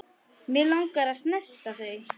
Mig langar að snerta þau.